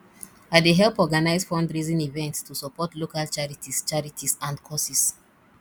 i dey help organize fundraising events to support local charities charities and causes